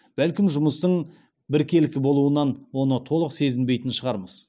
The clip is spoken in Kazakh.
бәлкім жұмыстың біркелкі болуынан оны толық сезінбейтін шығармыз